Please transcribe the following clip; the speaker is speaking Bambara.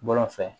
Bɔlɔn fɛ